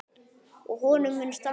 Og honum mun standa.